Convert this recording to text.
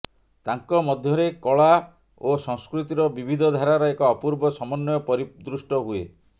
ତାଙ୍କ ମଧ୍ୟରେ କଳା ଓ ସଂସ୍କୃତିର ବିବିଧ ଧାରାର ଏକ ଅପୂର୍ବ ସମନ୍ୱୟ ପରିଦୃଷ୍ଟ ହୁଏ